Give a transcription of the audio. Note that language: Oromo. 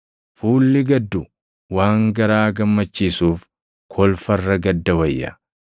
Fuulli gaddu waan garaa gammachiisuuf kolfa irra gadda wayya.